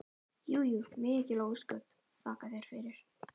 Jú jú, mikil ósköp, þakka þér fyrir.